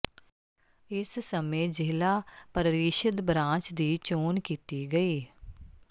ਇਸ ਸਮੇਂ ਜ਼ਿਲ੍ਹਾ ਪ੍ਰਰੀਸ਼ਦ ਬਰਾਂਚ ਦੀ ਚੋਣ ਕੀਤੀ ਗਈ